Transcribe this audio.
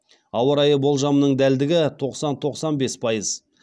ауа райы болжамының дәлдігі тоқсан тоқсан бес пайыз